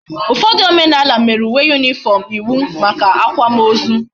Ufodu omenala mere uwe uniform iwu maka akwa ma ozu